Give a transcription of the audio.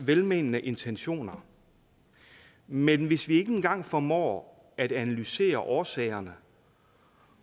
velmenende intentioner men hvis vi ikke engang formår at analysere årsagerne